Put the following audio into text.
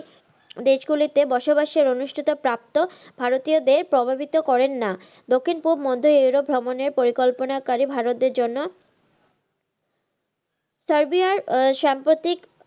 দেশ গুলি তে বসবাসের অনুষ্ঠিত প্রাপ্ত ভারতীয় দের প্রভাবিত করেন না। দক্ষিন পুব মধ্য ইউরোপ ভ্ররমণের পরিকল্পনা কারি ভারতীয় দের জন্য, সার্বিয়ার সাম্প্রতিক,